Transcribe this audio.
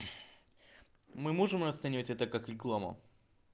мы можем расценивать это как рекламу